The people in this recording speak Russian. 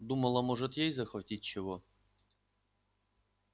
думала может ей захватить чего